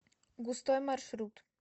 густой маршрут